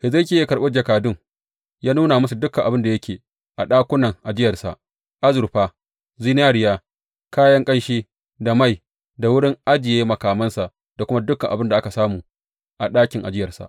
Hezekiya ya karɓi jakadun, ya nuna musu dukan abin da yake a ɗakunan ajiyarsa, azurfa, zinariya, kayan ƙanshi da mai, wurin ajiye makamansa da kuma dukan abin da aka samu a ɗakin ajiyarsa.